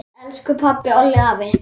Elsku pabbi, Olli, afi.